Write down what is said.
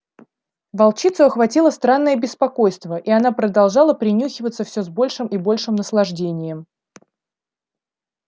волчицу охватило странное беспокойство и она продолжала принюхиваться все с большим и большим наслаждением